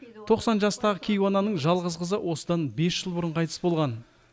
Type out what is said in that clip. тоқсан жастағы кейуананың жалғыз қызы осыдан бес жыл бұрын қайтыс болған